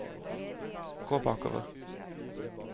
gå bakover